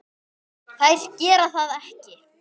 Þær gera það ekki.